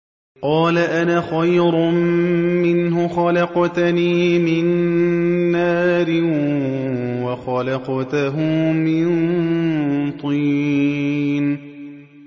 قَالَ أَنَا خَيْرٌ مِّنْهُ ۖ خَلَقْتَنِي مِن نَّارٍ وَخَلَقْتَهُ مِن طِينٍ